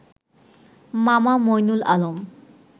মামা মঈনুল আলম